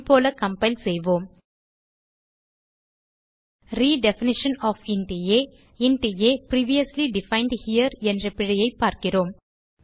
முன்போல compile செய்வோம் redefinition of int a int a previously defined here என்ற பிழையைப் பார்க்கிறோம்